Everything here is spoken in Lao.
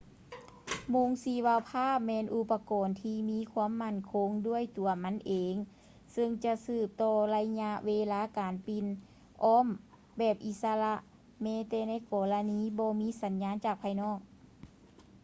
ໂມງຊີວະພາບແມ່ນອຸປະກອນທີ່ມີຄວາມໝັ້ນຄົງດ້ວຍຕົວມັນເອງເຊິ່ງຈະສືບຕໍ່ໄລຍະເວລາການປິ່ນອ້ອມແບບອິດສະລະແມ້ແຕ່ໃນກໍລະນີບໍ່ມີສັນຍານຈາກພາຍນອກ